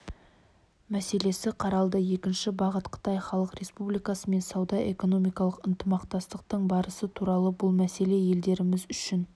мәселесі қаралды екінші бағыт қытай халық республикасымен сауда-экономикалық ынтымақтастық барысы туралы бұл мәселе елдеріміз үшін